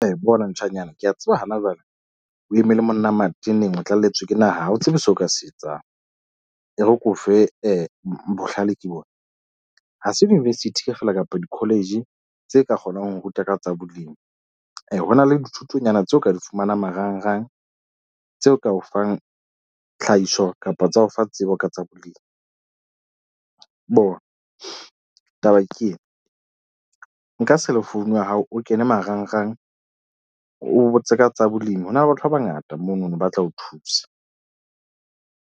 Bona ntjhanyana, ke a tseba hana jwale o eme le monna mateneng o tlalletswe ke naha ha o tsebe seo o ka se etsang. E re ke o fe bohlale ke bona ha se university feela kapo di-college tse ka kgonang ho ruta ka tsa bolemi. ho na le dithutonyana tseo o ka di fumanang marangrang tseo ka o fang tlhahiso kapa tsa o fa tsebo ka tsa bolemi. Bona taba ke ena nka cellphone ya hao o kene marangrang, o botse ka tsa bolemi. Ho na le batho ba bangata mono no ba tla o thusa.